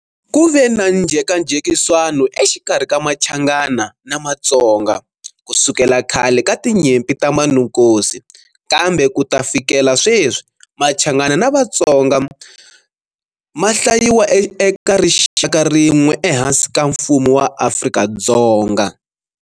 Ku ve na njhekanjhekiswano exikarhi ka Machangana na Matsonga, kusukela khale ka tinyimpi ta Manukosi, kambe ku ta fikela sweswi, Machangana na Vatsonga ma hlayiwa eka rixaka rin'we ehansi ka mfumo wa Afrika-Dzonga.